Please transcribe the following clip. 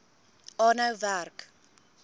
aanhou werk